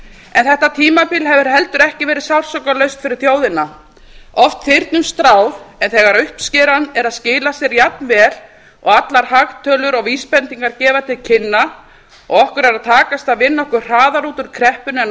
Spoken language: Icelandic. en þetta tímabil hefur heldur ekki verið sársaukalaust fyrir þjóðina oft þyrnum stráð en þegar uppskeran er að skila sér jafnvel og allar hagtölur og vísbendingar gefa til kynna og okkur er að takast að vinna okkur hraðar út úr kreppunni en